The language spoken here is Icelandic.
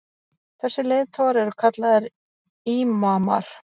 þessir leiðtogar eru kallaðir ímamar